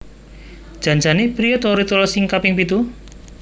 Jan jane priye to ritual sing kaping pitu?